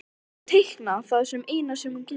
Já, teikna er það eina sem hún getur.